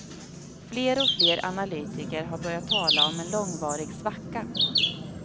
Fler och fler analytiker har börjat tala om en långvarig svacka.